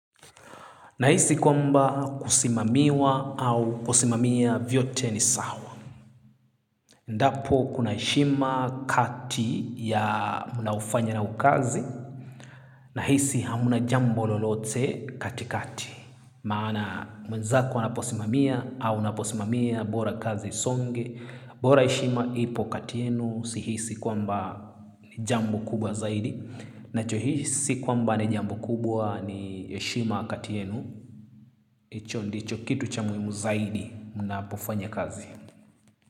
Na hisi kwamba kusimamiwa au kusimamia vyote ni sawa. Ndapo kuna heshima kati ya mnaofanya nao kazi. Na hisi hamna jambo lolote katikati. Maana mwenzako anaposimamia au unaposimamia bora kazi isonge. Bora heshima ipo kati yenu si hisi kwamba ni jambo kubwa zaidi. Nacho hisi kwamba ni jambo kubwa ni heshima kati yenu. Hicho ndicho kitu cha muhimu zaidi mnapofanya kazi.